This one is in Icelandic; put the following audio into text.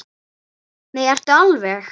Nei, ertu alveg.